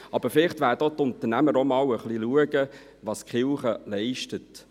Aber vielleicht werden die Unternehmer hinschauen, was die Kirche genau leistet.